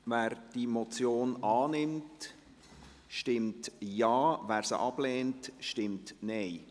Wer diese Motion annimmt, stimmt Ja, wer diese ablehnt, stimmt Nein.